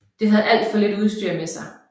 Den havde alt for lidt utstyr med sig